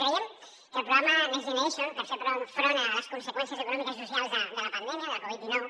creiem que el programa next generation per fer front a les conseqüències econòmiques i socials de la pandèmia de la covid dinou